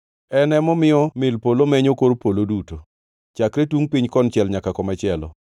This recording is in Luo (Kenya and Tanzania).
En emomiyo mil polo menyo kor polo duto, chakre tungʼ piny konchiel nyaka komachielo.